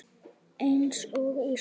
Eins og í sögu.